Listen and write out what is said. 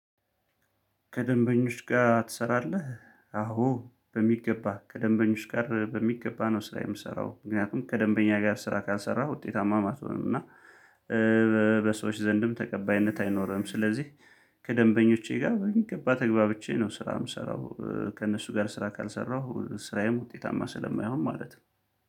ከደንበኞች ጋር ትሰራለህ? አዎ በሚገባ ከደንበኞች ጋር በሚገባ ነው ስራ የምሰራው ምክንያቱም ከደንበኛ ጋር ስራ ካልሰራ ውጤታማም አትሆንም እና በሰዎች ዘንድም ተቀባይነት አይኖርህም። ስለዚህ ከደንበኞቼ ጋር በሚገባ ተግባብቼ ነው ስራ የምሰራው። ከእነሱ ጋር ስራ ካልሰራሁ ስራዬም ውጤታማ ስለማይሆን ማለት ነው።